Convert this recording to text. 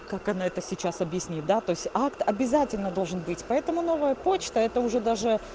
как она это сейчас объяснит да то есть акт обязательно должен быть поэтому новая почта это уже даже